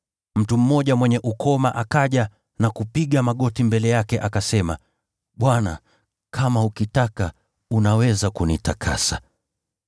Mtu mmoja mwenye ukoma akaja na kupiga magoti mbele yake, akasema, “Bwana, kama ukitaka, unaweza kunitakasa.”